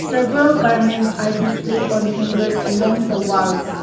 several garments are displayed on hangers along the walls.